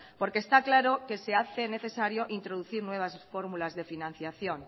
porque está claro que se hace necesario introducir nuevas fórmulas de financiación